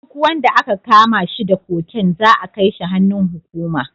Duk wanda aka kama shi da cocaine za'a kai shi hannun hukuma.